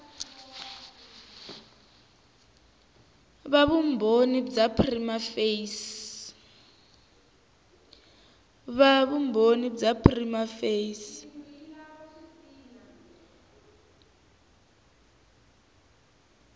va vumbhoni bya prima facie